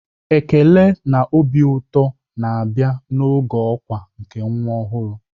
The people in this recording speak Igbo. Ekele na obi ụtọ na-abịa n'oge ọkwa nke nwa ọhụrụ.